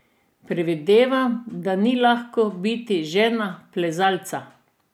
Predvidevam, da ni lahko biti žena plezalca.